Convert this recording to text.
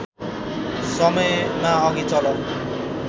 समयमा अघि चल